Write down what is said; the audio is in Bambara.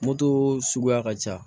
Moto suguya ka ca